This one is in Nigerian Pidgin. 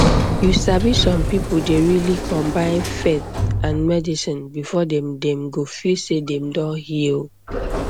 you sabi some people dey really combine faith and medicine before dem dem go feel sey dem don heal